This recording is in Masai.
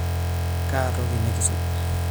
Kaa toki nikisuj?